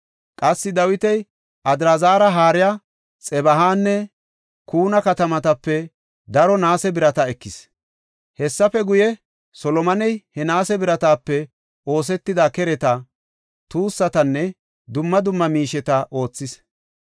Qassi Dawiti Adraazari haariya Xebahanne Kuna katamatape daro naase birata ekis. Hessafe guye, Solomoney he naase biratape oosetida kereta, tuussatanne dumma dumma miisheta oothis.